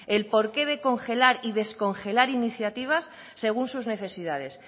el porqué de congelar y descongelar iniciativas según sus necesidades